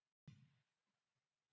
Því trúi ég.